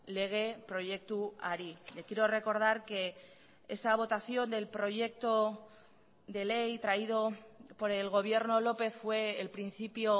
lege proiektuari le quiero recordar que esa votación del proyecto de ley traído por el gobierno lópez fue el principio